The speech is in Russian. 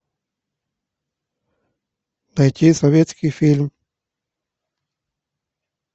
найти советский фильм